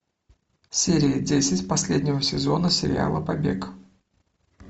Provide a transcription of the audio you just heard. серия десять последнего сезона сериала побег